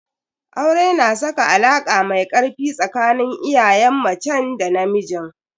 Aure na saka alaka mai ƙarfi tsakanin iyayen macen da namijin.